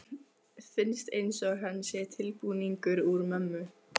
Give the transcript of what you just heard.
Finnst einsog hann sé tilbúningur úr mömmu.